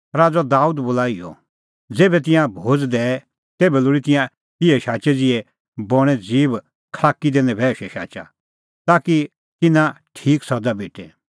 राज़अ दाबेद बोला इहअ ज़ेभै तिंयां भोज़ दैए तेभै लोल़ी तिंयां इहै शाचै ज़िहै बणें ज़ीब खल़ाकी दी नभैऊशै शाचा ताकि तिन्नां तेते ठीक सज़ा भेटे